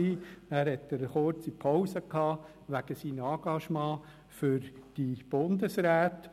Dann machte er eine kurze Pause wegen seiner Engagements für die Bundesräte.